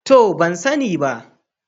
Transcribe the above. To, ban sani ba.